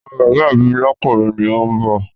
Ọmọ bàbá mi lọ́kùnrin ni òun bọ̀